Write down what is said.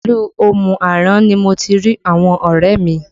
Ilu Omu Aran ni mo ti rí àwọn ọrẹ mi